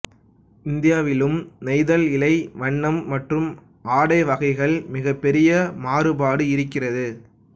இந்தியாவிலும் நெய்தல் இழை வண்ணம் மற்றும் ஆடை வகைகளில் மிகப்பெரிய மாறுபாடு இருக்கிறது